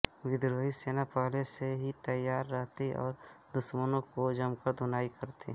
विद्रोही सेना पहले से ही तैयार रहती और दुश्मनों की जमकर धुनाई करती